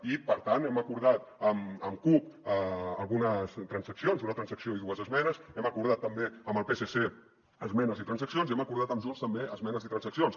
i per tant hem acordat amb cup algunes transaccions una transacció i dues esmenes hem acordat també amb el psc esmenes i transaccions i hem acordat amb junts també esmenes i transaccions